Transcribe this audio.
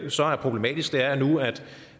så er problematisk nu er at